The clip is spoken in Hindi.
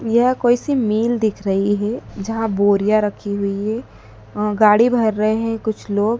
यह कोई सी मिल दिख रही है जहां बोरियां रखी हुई है अह गाड़ी भर रहे हैं कुछ लोग।